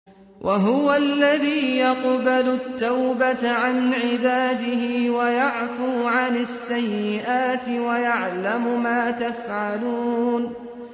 وَهُوَ الَّذِي يَقْبَلُ التَّوْبَةَ عَنْ عِبَادِهِ وَيَعْفُو عَنِ السَّيِّئَاتِ وَيَعْلَمُ مَا تَفْعَلُونَ